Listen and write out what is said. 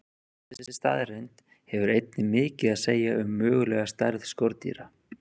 Þessi staðreynd hefur einnig mikið að segja um mögulega stærð skordýra.